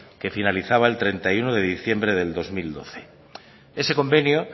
que finalizaba el treinta y uno de diciembre del dos mil doce ese convenio